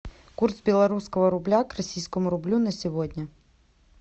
курс белорусского рубля к российскому рублю на сегодня